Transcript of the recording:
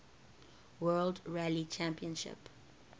world rally championship